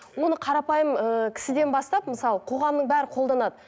оны қарапайым ііі кісіден бастап мысалы қоғамның бәрі қолданады